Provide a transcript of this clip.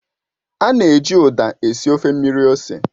A na-eji Uda esi ofe mmiri ose